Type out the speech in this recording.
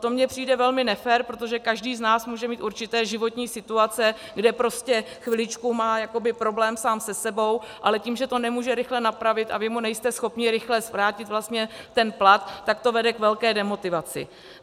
To mně přijde velmi nefér, protože každý z nás může mít určité životní situace, kde prostě chviličku má jakoby problém sám se sebou, ale tím, že to nemůže rychle napravit a vy mu nejste schopni rychle vrátit vlastně ten plat, tak to vede k velké demotivaci.